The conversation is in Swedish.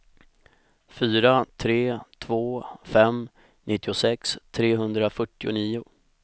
fyra tre två fem nittiosex trehundrafyrtionio